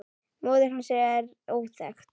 Móðir hans er óþekkt.